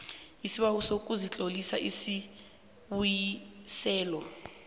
isibawo sokuzitlolisela ukubuyiselwa